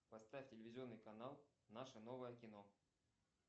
поставь телевизионный канал наше новое кино